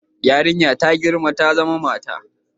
Yarinya ta girma ta zama mata